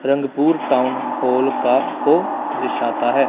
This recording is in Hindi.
रंगपुर टाउन हॉल का को दर्शाता है।